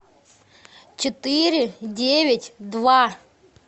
четыре девять два